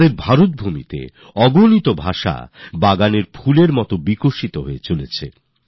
আমাদের ভারতভূমিতে শত শত ভাষা সহস্র সহস্র বছর ধরে পুষ্পিত পল্লবিত হয়ে চলেছে